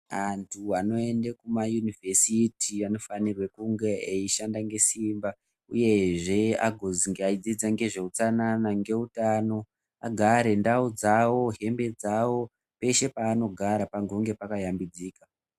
Anthu anoende kumaUnivhesiti anofanirwa kunge eishanda ngesimba uyezve agozingaidzidza ngezveutsanana ngezveutano agare ndau dzawo hembe dzawo peshe paanogara pange pakashambidzika.